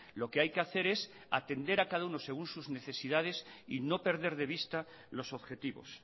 lo que hay que hacer es atender a cada uno según sus necesidades y no perder de vista los objetivos